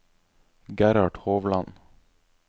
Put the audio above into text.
Gerhard Hovland